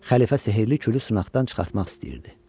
Xəlifə sehrli külü sınaqdan çıxartmaq istəyirdi.